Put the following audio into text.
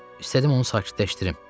İstədim onu sakitləşdirim.